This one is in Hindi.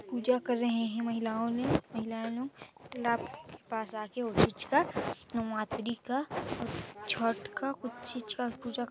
पुजा कर रहे है महिलाओं ने महिलानु तालाब पास आके उहीच कन नउआतरी का छठ का कुछ चीज का पुजा--